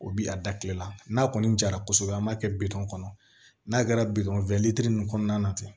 O bi a da kile la n'a kɔni jara kosɛbɛ an b'a kɛ bitɔn kɔnɔ n'a kɛra bitɔn ninnu kɔnɔna na ten